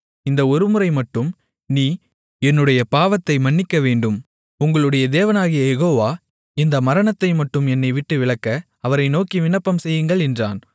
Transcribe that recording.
இந்த ஒருமுறைமட்டும் நீ என்னுடைய பாவத்தை மன்னிக்கவேண்டும் உங்களுடைய தேவனாகிய யெகோவா இந்த மரணத்தைமட்டும் என்னைவிட்டு விலக்க அவரை நோக்கி விண்ணப்பம்செய்யுங்கள் என்றான்